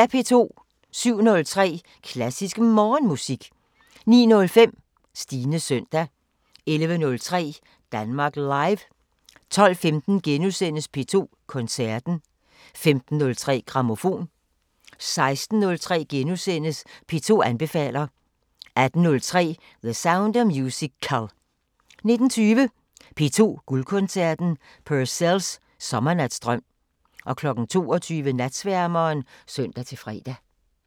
07:03: Klassisk Morgenmusik 09:05: Stines søndag 11:03: Danmark Live 12:15: P2 Koncerten * 15:03: Grammofon 16:03: P2 anbefaler * 18:03: The Sound of Musical 19:20: P2 Guldkoncerten: Purcells skærsommernatsdrøm 22:00: Natsværmeren (søn-fre)